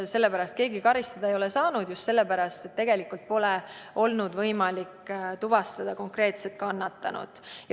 Sellepärast ei ole keegi karistada saanud, just sellepärast, et pole olnud võimalik tuvastada konkreetset kannatanut.